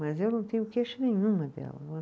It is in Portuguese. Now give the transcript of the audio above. Mas eu não tenho queixa nenhuma dela, né